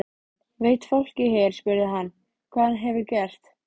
Veit fólkið hér spurði hann, hvað hann hefur gert?